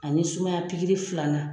Ani sumaya pikiri filanan